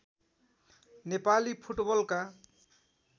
नेपाली फुटबलका